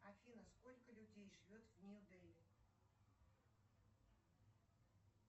афина сколько людей живет в нью дели